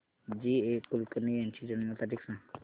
जी A Kulkarni यांची जन्म तारीख सांग